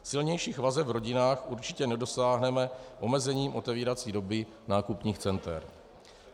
Silnějších vazeb v rodinách určitě nedosáhneme omezením otevírací doby nákupních center.